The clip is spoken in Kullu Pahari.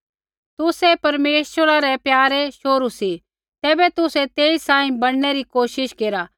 तुसै परमेश्वरा रै प्यारै शोहरू सी तैबै तुसै तेई सांही बणनै री कोशिश केरा